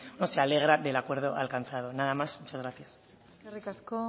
se alegra del acuerdo alcanzado nada más muchas gracias eskerrik asko